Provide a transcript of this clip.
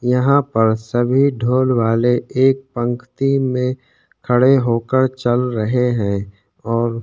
यहाँ पर सभी ढोल वाले एक पंखती में खड़े होक चल रहे है।